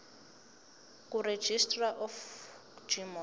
kuregistrar of gmos